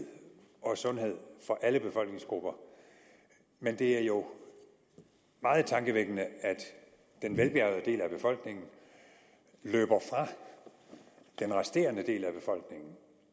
og sundhed for alle befolkningsgrupper men det er jo meget tankevækkende at den velbjærgede del af befolkningen løber fra den resterende del af befolkningen